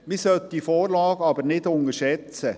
Man sollte diese Vorlage aber nicht unterschätzen.